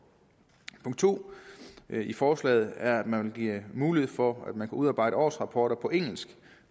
punkt to i forslaget er at man vil give mulighed for at man kan udarbejde årsrapporter på engelsk